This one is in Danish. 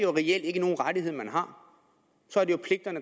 rettighederne